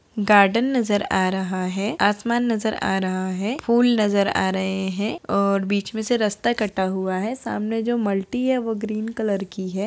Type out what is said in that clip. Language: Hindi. गार्डन नजर आ रहा है आसमान नजर आ रहा है फूल नजर आ रहै हैं और बीच में से रास्ता कटा हुआ है सामने जो मल्टी है वो ग्रीन कलर की है।